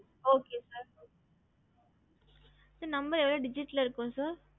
gstnumber பாத்து இருக்கீங்கல sir எத்தனை digitel number வரும்